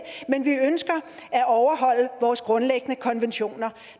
men vi ønsker at overholde vores grundlæggende konventioner